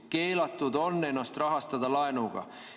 Keelatud on ennast rahastada laenuga.